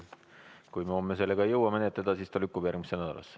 Kui me homme seda ei jõua menetleda, siis see lükkub järgmisse nädalasse.